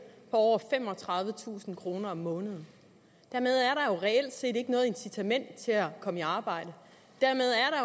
på over femogtredivetusind kroner om måneden dermed er der reelt set ikke noget incitament til at komme i arbejde